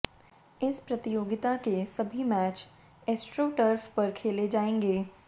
इस प्रतियोगिता के सभी मैच एस्ट्रो टर्फ पर खेले जाएंगे